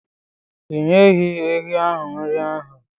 Ị nyeghị ehi ahu nri ụnyahụ?